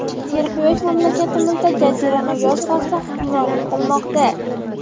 Serquyosh mamlakatimizda jazirama yoz fasli hukmronlik qilmoqda.